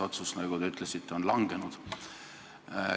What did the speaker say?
Otsus, nagu te ütlesite, on langenud.